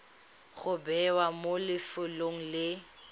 go bewa mo lefelong le